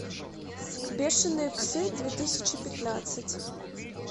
бешенные псы две тысячи пятнадцать